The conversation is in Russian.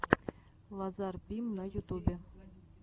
лазар бим на ютубе